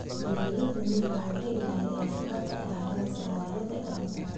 Beeraleyda miyigu waxay ilaaliyaan hababka dhaqameed ee wareegga dalagga.